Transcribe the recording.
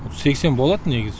сексен болады негізі